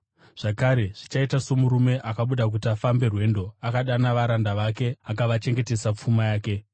“Zvakare, zvichaita somurume akabuda kuti afambe rwendo, akadana varanda vake akavachengetesa pfuma yake.